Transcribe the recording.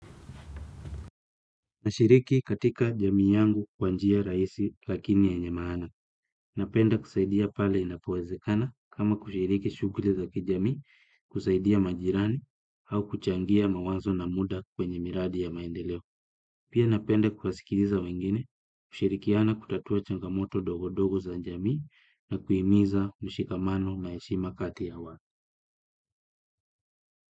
Nashiriki katika jamii yangu kwa njia rahisi lakini yenye maana. Napenda kusaidia pale inapowezekana kama kushiriki shughuli za kijamii kusaidia majirani au kuchangia mawazo na muda kwenye miradi ya maendeleo. Pia napenda kuwasikiliza wengine kushirikiana kutatua changamoto dogo dogo za njamii na kuimiza mushikamano na heshima kati ya wa.